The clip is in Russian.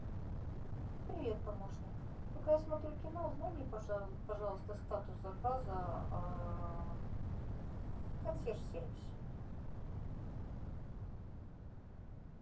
привет помощник пока я смотрю кино узнай мне пожалуйста статус заказа в консьерж сервисе